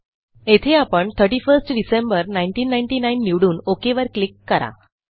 येथे आपण 31 डीईसी 1999 निवडून ओक वर क्लिक करा